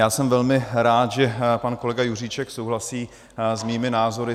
Já jsem velmi rád, že pan kolega Juříček souhlasí s mými názory.